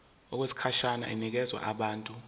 okwesikhashana inikezwa abantu